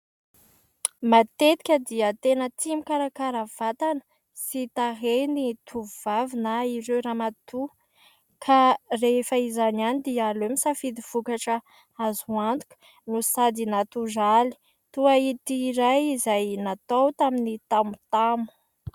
Matetika dia tena tia mikarakara vatana sy tarehy ny tovovavy na ireo ramatoa, ka rehefa izany ihany dia aleo misafidy vokatra azo antoka no sady natoraly toa ity iray, izay natao tamin'ny tamotamo.